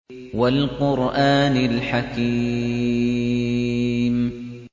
وَالْقُرْآنِ الْحَكِيمِ